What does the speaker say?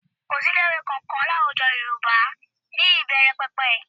Kò sí ilé-ìwẹ́ kankan ní àwùjọ Yorùbá ní ìbẹ̀rẹ̀pẹ̀pẹ̀